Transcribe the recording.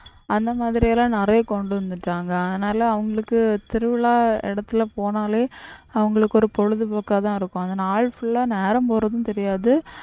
அந்த மாதிரி எல்லாம் நிறைய கொண்டு வந்துட்டாங்க அதனால அவங்களுக்கு திருவிழா இடத்துல போனாலே அவங்களுக்கு ஒரு பொழுதுபோக்காதான் இருக்கும் அந்த நாள் full ஆ நேரம் போறதும் தெரியாது